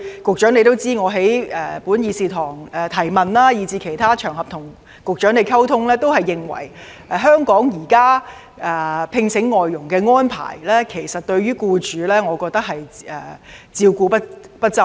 局長也知道，我過去在本議事堂提問及在其他場合與局長溝通時，均表示現時香港聘請外傭的安排對僱主照顧不周。